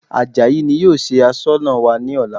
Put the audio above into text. Àjàyí ni yóò ṣe Aṣọ́nà wa ní ọ̀la